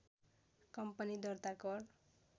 company दर्ता कर